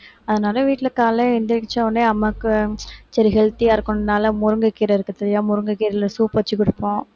அதனால வீட்டுல காலையில எந்திரிச்சா உடனே அம்மாவுக்கு சரி healthy ஆ இருக்கணும்னால முருங்கைக்கீரை இருக்கு சரியா முருங்கைக்கீரையில soup வச்சு கொடுப்போம்